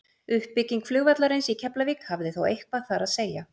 Uppbygging flugvallarins í Keflavík hafði þó eitthvað þar að segja.